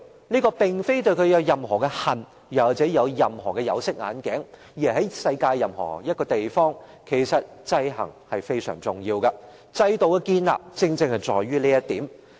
這並非對政權有任何的恨或對它戴上有色眼鏡，而是在世界上任何地方，制衡也是非常重要的，制度的建立正正是基於這一點。